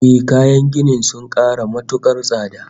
Ehh, kayan gini sun ƙara matuƙar tsada